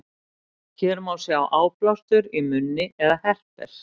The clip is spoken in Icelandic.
hér má sjá áblástur í munni eða herpes